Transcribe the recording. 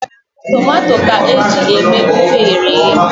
Tomato ka eji eme ofe eghere eghe.